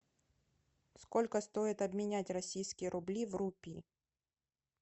сколько стоит обменять российские рубли в рупии